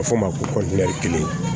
A bɛ fɔ o ma ko kelen